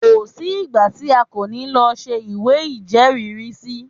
Kò sí ìgbà tí a kò ní lọ ṣe ìwé ìjẹ́rìrísí.